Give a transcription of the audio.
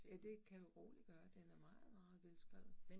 Ja, det kan du roligt gøre. Den er meget meget velskrevet